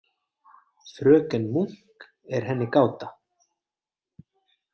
Fröken Munk er henni gáta.